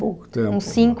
Pouco tempo. Uns